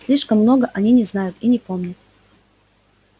слишком много они не знают и не помнят